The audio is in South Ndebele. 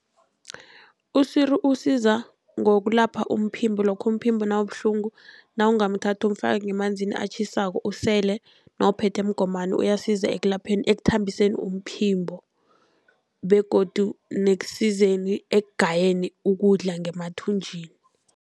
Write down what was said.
Iswiri usiza ngokulapha umphimbo lokha umphimbo nawubuhlungu. Nawungamthatha umfake ngemanzini atjhisako usele nawuphethe mgomani, uyasiza ekulapheni ekuthambiseni umphimbo begodu nekusizeni ekugayeni ukudla ngemathunjini.